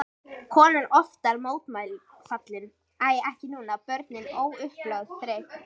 Konan oftar mótfallin, æ ekki núna, börnin, óupplögð, þreytt.